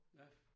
Ja